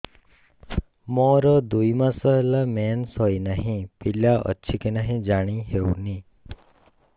ମୋର ଦୁଇ ମାସ ହେଲା ମେନ୍ସେସ ହୋଇ ନାହିଁ ପିଲା ଅଛି କି ନାହିଁ ଜାଣି ହେଉନି